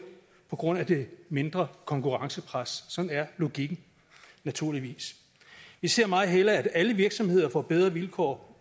på grund af det mindre konkurrencepres sådan er logikken naturligvis vi ser meget hellere at alle virksomheder får bedre vilkår